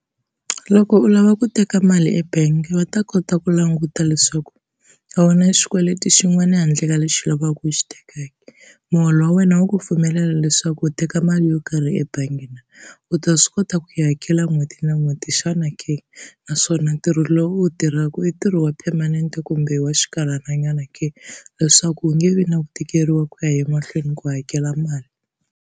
Loko u lava ku teka mali ebangi va ta kota ku languta leswaku a wu na xikweleti xin'wana handle ka lexi u lavaka ku xi tekaka, muholo wa wena wu ku pfumelela leswaku u teka mali yo karhi ebangi na, u ta swi kota ku yi hakela n'hweti na n'hweti xana ke? Naswona ntirho lowu u wu tirhaka i ntirho wa permanent kumbe wa xinkarhananyana ke, leswaku u nge vi na ku tikeriwa ku ya emahlweni ku hakela mali.